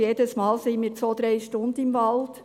wir sind jedes Mal zwei bis drei Stunden im Wald.